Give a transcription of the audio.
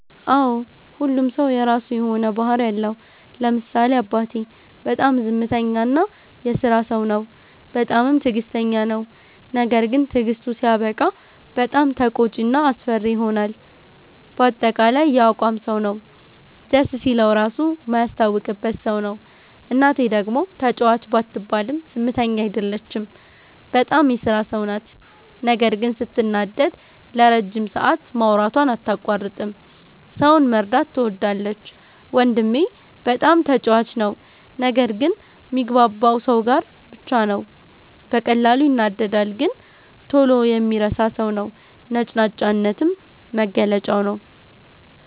አዎ ሁሉም ሠው የራሱ የሆነ ባህርይ አለው። ለምሳሌ አባቴ፦ በጣም ዝምተኛ እና የስራ ሠው ነው። በጣምም ትግስተኛ ነው። ነገርግን ትግስቱ ሲያበቃ በጣም ተቆጭ እና አስፈሪ ይሆናል በአጠቃላይ የአቋም ሠው ነው። ደስ ሲለው ራሡ ማያስታውቅበት ሠው ነው። እናቴ፦ ደግሞ ተጫዋች ባትባልም ዝምተኛ አይደለችም። በጣም የስራ ሠው ናት ነገር ግን ስትናደድ ለረጅም ሠአት ማውራቷን አታቋርጥም። ሠውን መርዳት ትወዳለች። ወንድሜ፦ በጣም ተጫዋች ነው። ነገር ግን ሚግባባው ሠው ጋር ብቻ ነው። በቀላሉ ይናደዳል ነገር ግን ቶሎ የሚረሣ ሠው ነው። ነጭናጫነትም መገለጫው ነዉ።